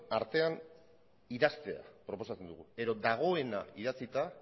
artean idaztea proposatzen dugu edo dagoena idatzita